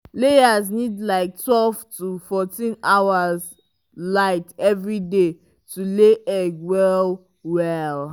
layers need like twelve to fourteen hours light every day to lay egg well well.